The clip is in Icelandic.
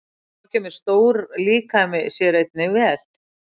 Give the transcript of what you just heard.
Þá kemur stór líkami sér einnig vel.